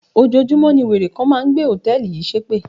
Ojoojúmọ́ ní wèrè kan máa ń gbé hòtẹ́ẹ̀lì yìí ṣépè.